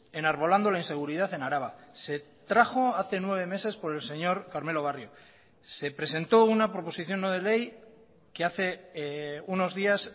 enarbolando la inseguridad en araba se trajo hace nueve meses por el señor carmelo barrio se presentó una proposición no de ley que hace unos días